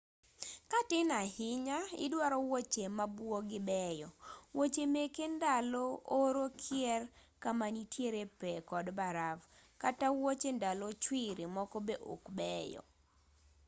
ka tin ahinya idwaro wuoche mabuogii beyo wuoche meke ndalo oro kier kama nitie pee kod baraf kata wuoche ndalo chwiri moko be ok beyo